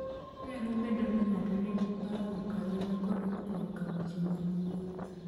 Nyalo bedo ni ng'ato nigi parruok ahinya kodok korka weche mag wuoth.